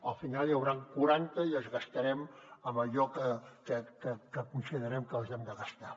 al final n’hi hauran quaranta i els gastarem en allò que considerem que els hem de gastar